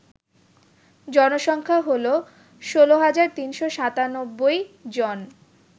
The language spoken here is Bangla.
জনসংখ্যা হল ১৬৩৯৭ জন